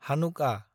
हानुकआ